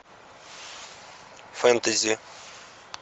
фэнтези